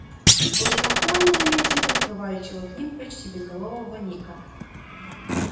сквозь толпу они заметили подплывающего к ним почти безголового ника